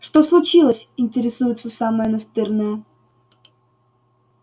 что случилось интересуется самая настырная